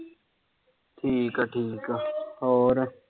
ਠੀਕ ਆ-ਠੀਕ ਆ।